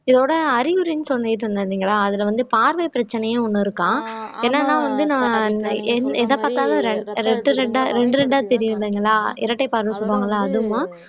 இதோட அறிகுறின்னு சொல்லிட்டு இருந்தேன் இல்லைங்களா அதுல வந்து பார்வை பிரச்சனையே ஒண்ணு இருக்காம் என்னன்னா வந்து நான் என் எத பார்த்தாலும் ரெண் இரண்டு இரண்டா தெரியும் இல்லைங்களா இரட்டை பார்வை சொல்லுவாங்க இல்லை அதுவும